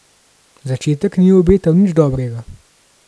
Začetek ni obetal nič dobrega.